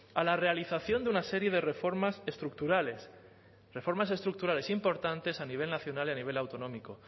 a la realización de una serie de reformas estructurales reformas estructurales importantes a nivel nacional y a nivel autonómico